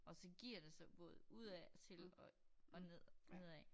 Og så giver det sig både udadtil og og ned nedad